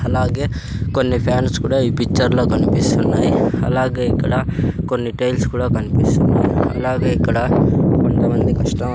అలాగే కొన్ని ఫ్యాన్స్ కూడా ఈ పిచ్చర్ లో కన్పిస్తున్నాయి అలాగే ఇక్కడ కొన్ని టైల్స్ కూడా కన్పిస్తున్నాయి అలాగే ఇక్కడ కొంత మంది కస్టమర్ --